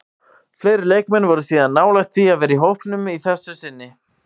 Fleiri leikmenn voru síðan nálægt því að vera í hópnum að þessu sinni.